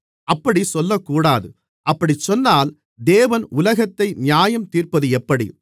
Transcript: அப்படிச் சொல்லக்கூடாது அப்படிச்சொன்னால் தேவன் உலகத்தை நியாயந்தீர்ப்பது எப்படி